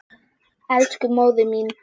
Elsku móðir mín.